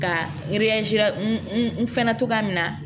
Ka n fɛnɛ togoya min na